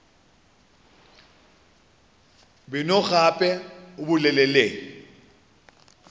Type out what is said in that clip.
beno gape o bolele le